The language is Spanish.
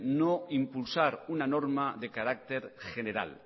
no impulsar una norma de carácter general